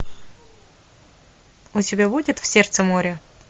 у тебя будет в сердце моря